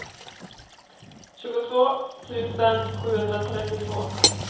tjugotvå tusen sjuhundratrettiotvå